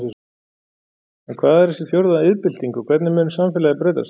En hvað er þessi fjórða iðnbylting og hvernig mun samfélagið breytast?